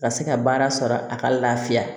Ka se ka baara sɔrɔ a ka lafiya